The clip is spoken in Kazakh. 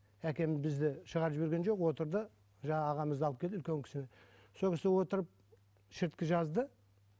әкем бізді шығарып жіберген жоқ отырды жаңағы ағамызды алып келді үлкен кісіні сол кісі отырып шірткі жазды